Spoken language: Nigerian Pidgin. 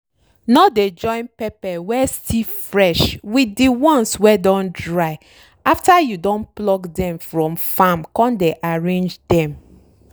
no dey join pepper wey still fresh with de ones wey don dry after you don pluck dem from farm con dey arrange dem.